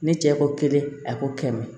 Ne cɛ ko kelen a ko kɛmɛ